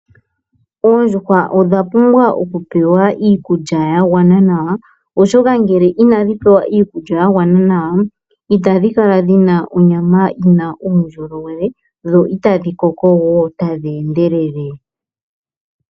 Oondjuhwa odha pumbwa okupewa iikulya yagwana nawa , oshoka ngele inadhi pewa iikulya yagwana nawa itadhi kala dhina onyama yina uundjolowele , dho itadhi koko woo tadhi endelele.